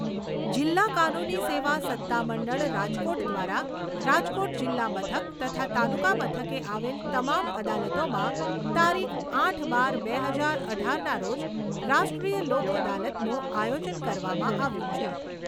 જિલ્લા કાનૂની સેવા સત્તા મંડળ રાજકોટ દ્વારા રાજકોટ જિલ્લા મથક તથા તાલુકા મથકે આવેલ તમામ અદાલતોમાં તારીખ આઠ બાર બે હજાર અઢારના રોજ રાષ્ટ્રીય લોક અદાલતનું આયોજન કરવામાં આવ્યું છે.